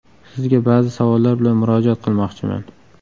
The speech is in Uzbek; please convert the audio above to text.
Sizga ba’zi savollar bilan murojaat qilmoqchiman.